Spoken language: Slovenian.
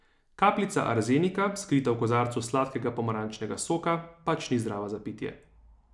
Kapljica arzenika, skrita v kozarcu sladkega pomarančnega soka, pač ni zdrava za pitje.